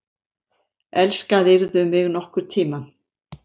Elskaðirðu mig nokkurn tíma?